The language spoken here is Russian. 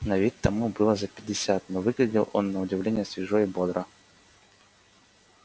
на вид тому было за пятьдесят но выглядел он на удивление свежо и бодро